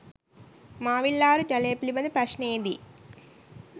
මාවිල්ආරු ජලය පිළිබඳ ප්‍රශ්නයේදී